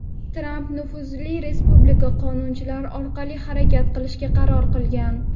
Tramp nufuzli respublikachi qonunchilar orqali harakat qilishga qaror qilgan.